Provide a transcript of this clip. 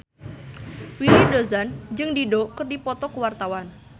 Willy Dozan jeung Dido keur dipoto ku wartawan